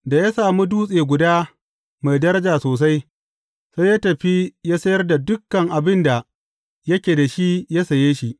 Da ya sami dutse guda mai daraja sosai, sai ya tafi ya sayar da dukan abin da yake da shi ya saye shi.